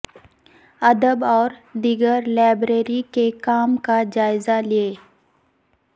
ادب اور دیگر لائبریری کے کام کا جائزہ لیں